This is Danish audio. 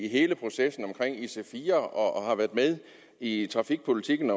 i hele processen om ic4 og har været med i trafikpolitikken